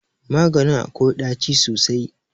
Maganin akwai ɗaci sosai.